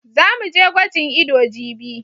Za mu je gwajin ido jibi.